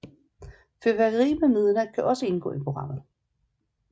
Fyrværkeri ved midnat kan også indgå i programmet